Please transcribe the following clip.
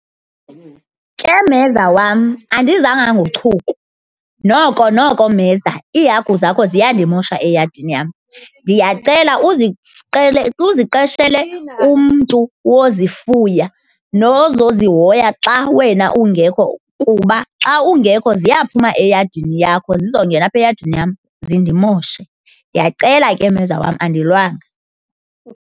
Ke, mheza wam, andizanga ngochuku. Noko, noko, mheza, iihagu zakho ziyandimosha eyadini yam. Ndiyacela uziqeshele umntu wozifuya nozozihoya xa wena ungekho kuba xa ungekho ziyaphuma eyadini yakho zizongena apha eyadini yam zindimoshe. Ndiyacela ke mheza wam, andilwanga.